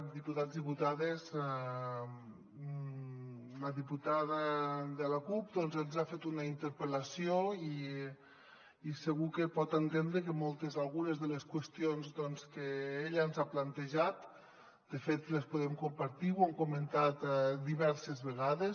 diputats diputades la diputada de la cup ens ha fet una interpel·lació i segur que pot entendre que moltes algunes de les qüestions que ella ens ha plantejat de fet les podem compartir ho hem comentat diverses vegades